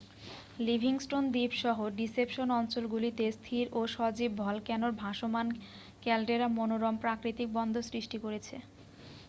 Livingstone দ্বীপ-সহ Deception অঞ্চলগুলিতে স্থির ও সজীব ভলক্যানোর ভাসমান ক্যালডেরা মনোরম প্রাকতিক বন্দর সৃষ্টি করেছে